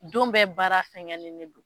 Don bɛ baara sɛgɛnni de don